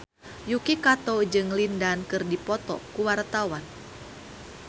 Yuki Kato jeung Lin Dan keur dipoto ku wartawan